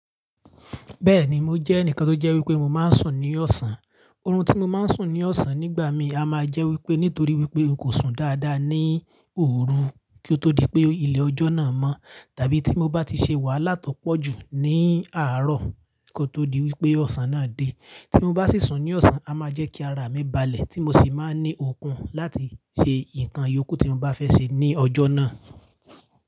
Bẹ́ẹ̀ ni, mo jẹ́ ẹnìkan tó jẹ́ wí pé mo máa ń sùn ní ọ̀sán. Orun tí mo máa ń sùn ní ọ̀sán nígbà míì a máa jẹ́ wí pé nítorí wí pé n kò sùn dáadáa ní òru kí ó tó di pé ilẹ̀ ọjọ́ náà mọ́. Tàbí tí mo bá ti ṣe wàhálà tó pọ̀ jù ní àárọ̀ kí ó tó di wípé ọ̀sán náà dé. Tí mo bá sì sùn ní ọ̀sán, a máa jẹ́ kí ara mi balẹ̀ tí mo sì máa ń ní okun láti ṣe ǹkan ìyókù tí mo bá fẹ́ ṣe ní ọjọ́ náà.